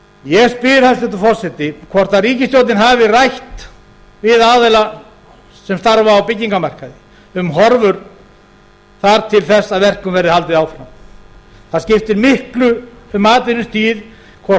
ég spyr hæstvirtur forseti hvort ríkisstjórnin hafi rætt við aðila sem starfa á byggingamarkaði um horfur þar til þess að verkum verður haldið áfram það skiptir miklu um atvinnustigið hvort